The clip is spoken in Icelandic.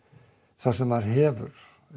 það sem maður hefur